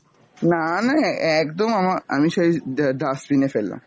না না অ্যা~ একদম আমা~ আমি সেই ডা~ dustbin এ ফেললাম।